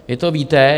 Vy to víte.